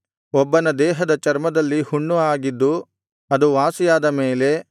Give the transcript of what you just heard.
ಒಬ್ಬನ ದೇಹದ ಚರ್ಮದಲ್ಲಿ ಹುಣ್ಣು ಆಗಿದ್ದು ಅದು ವಾಸಿಯಾದ ಮೇಲೆ